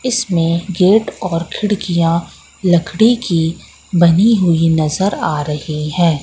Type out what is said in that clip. इसमें गेट और खिड़कियां लकड़ी की बनी हुई नजर आ रही है।